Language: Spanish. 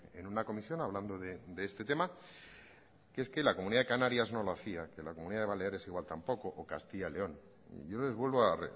en una comisión hablando de este tema que es que la comunidad de canarias no lo hacía y que la comunidad de baleares igual tampoco o castilla y león yo les vuelvo a